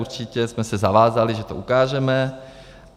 Určitě jsme se zavázali, že to ukážeme.